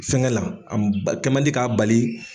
Fɛn kɛ la anb kɛmandi k'a bali.